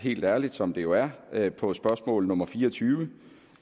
helt ærligt som det jo er er på spørgsmål nummer fire og tyve